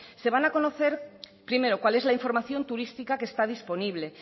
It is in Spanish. se van a conocer primero cual es la información turística que está disponible